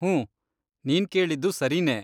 ಹೂಂ, ನೀನ್ ಕೇಳಿದ್ದು ಸರಿನೇ.